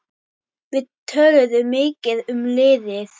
Við töluðum mikið um liðið.